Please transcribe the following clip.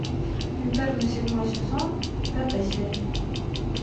интерны седьмой сезон пятая серия